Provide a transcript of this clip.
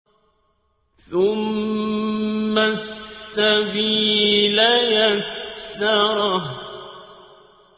ثُمَّ السَّبِيلَ يَسَّرَهُ